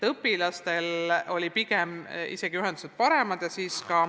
Õpilaste ühendus toimis isegi paremini.